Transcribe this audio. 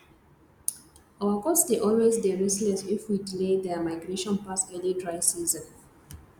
our goats dey always dey restless if we delay there migration pass early dry season